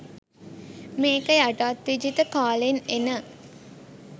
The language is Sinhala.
මේක යටත් විජිත කාලෙන් එන